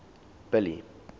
billy